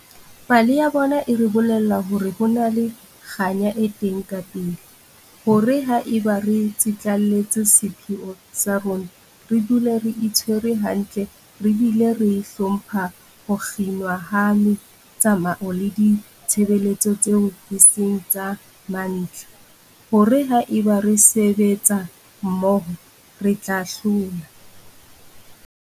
Pale ya bona e re bolella hore ho na le kganya e teng kapele, hore haeba re tsitlallela sepheo sa rona, re dula re itshwere hantle re bile re hlompha ho kginwa ha metsamao le ditshebeletso tseo e seng tsa mantlha, hore haeba re sebetsa mmoho, re tla hlola.